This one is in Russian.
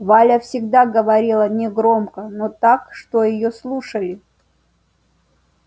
валя всегда говорила негромко но так что её слушали